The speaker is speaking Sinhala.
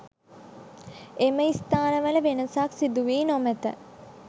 එම ස්‌ථානවල වෙනසක්‌ සිදුවී නොමැත.